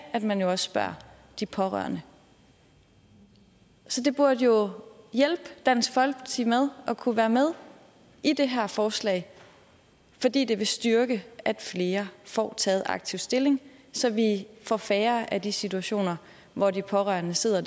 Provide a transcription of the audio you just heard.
at man jo også spørger de pårørende så det burde jo hjælpe dansk folkeparti med at kunne være med i det her forslag fordi det vil styrke at flere får taget aktivt stilling så vi får færre af de situationer hvor de pårørende sidder